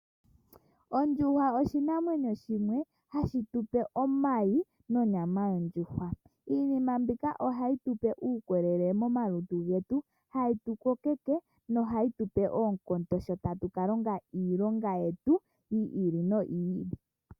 Ondjuhwa oshinamwenyo shimwe hashi tupe omayi nonyama yondjuhwa. Iinima mbika ohayi tupe uukolele momalutu getu, hayi tu kokeke nohayi tupe oonkondo sho tatu ka longa iilonga yetu yi ili noyi ili.